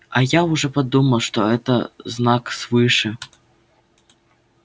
а я уж подумал что это знак свыше